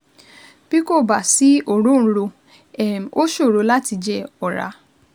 bí kò bá sí òróǹro, um ó ṣòro láti jẹ ọ̀rá